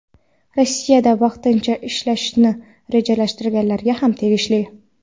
Rossiyada vaqtincha yashashni rejalashtirganlarga ham tegishli.